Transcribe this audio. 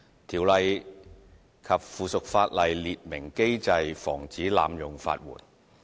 《條例》及附屬法例列明機制防止濫用法援。